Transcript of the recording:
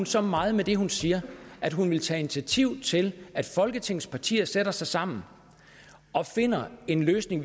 så meget med det hun siger at hun vil tage initiativ til at folketingets partier sætter sig sammen og finder en løsning